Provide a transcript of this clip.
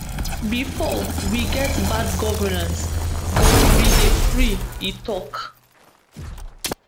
bifor we get bad governance but we dey free e tok